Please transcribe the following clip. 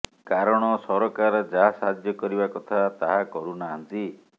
କାରଣ ସରକାର ଯାହା ସାହାଯ୍ୟ କରିବା କଥା ତାହା କରୁ ନାହାନ୍ତି